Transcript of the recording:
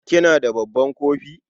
kina da babban kofi?